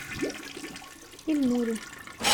ильнуре